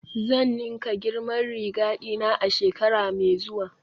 Zan ninka girman riga dina a shekara mai zuwa